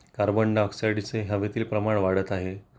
carbon डाय ऑक्साइडचे हवेतील प्रमाण वाढत आहे